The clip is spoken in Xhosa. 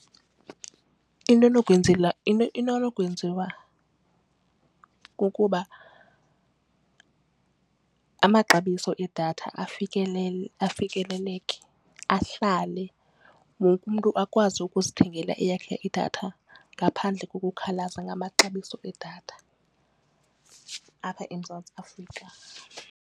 Into enokwenziwa kukuba amaxabiso edatha afikeleleke ahlale wonke umntu akwazi ukuzithengela eyakhe idatha ngaphandle kokukhalaza ngamaxabiso edatha apha eMzantsi Afrika.